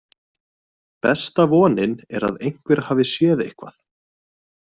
Besta vonin er að einhver hafi séð eitthvað.